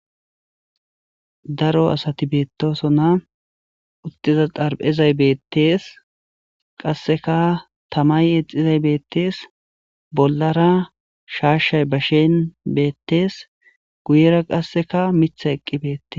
daro asati beettoso na uttiza xarphezay beettees qasseka tamay exizay beettees bollara shaashshay bashen beettees guyera qasseka mitha eqqi beettes